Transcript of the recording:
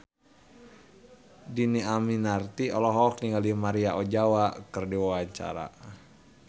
Dhini Aminarti olohok ningali Maria Ozawa keur diwawancara